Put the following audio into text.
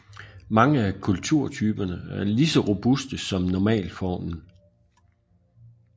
Mange af kulturtyperne er lige så robuste som normalformen